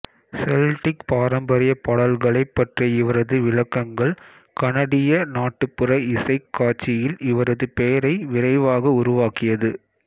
Celtic பாரம்பரிய பாடல்களைப் பற்றிய இவரது விளக்கங்கள் கனடிய நாட்டுப்புற இசைக் காட்சியில் இவரது பெயரை விரைவாக உருவாக்கியது